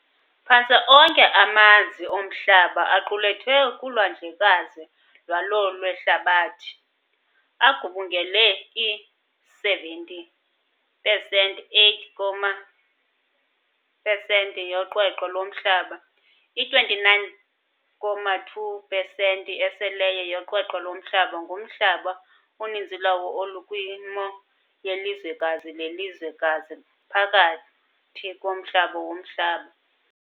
Phantse onke amanzi oMhlaba aqulethwe kulwandlekazi lwalo lwehlabathi, agubungela i-70 pesenti 8 comma pesenti yoqweqwe loMhlaba. I-29.2 pesenti eseleyo yoqweqwe loMhlaba ngumhlaba, uninzi lwawo olukwimo yelizwekazi lelizwekazi phakathi komhlaba womhlaba.